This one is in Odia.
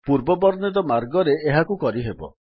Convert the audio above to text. ପୂର୍ବ ବର୍ଣ୍ଣିତ ମାର୍ଗରେ ଏହାକୁ କରିହେବ